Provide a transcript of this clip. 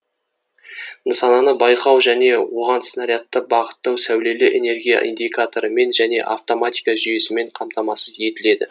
нысананы байқау және оған снарядты бағыттау сәулелі энергия индикаторымен және автоматика жүйесімен камтамасыз етіледі